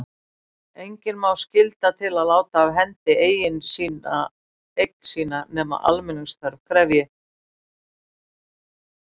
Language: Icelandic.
Engan má skylda til að láta af hendi eign sína nema almenningsþörf krefji.